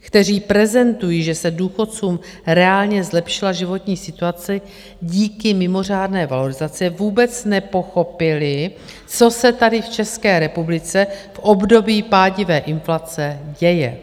kteří prezentují, že se důchodcům reálně zlepšila životní situace díky mimořádné valorizaci, vůbec nepochopili, co se tady v České republice v období pádivé inflace děje.